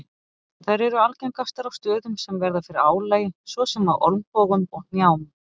Þær eru algengastar á stöðum sem verða fyrir álagi svo sem á olnbogum og hnjám.